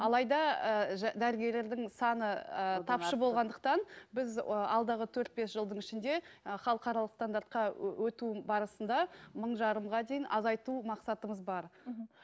алайда ы дәрігерлердің саны ыыы тапшы болғандықтан біз ы алдағы төрт бес жылдың ішінде ы халықаралық стандартқа өту барысында мың жарымға дейін азайту мақсатымыз бар мхм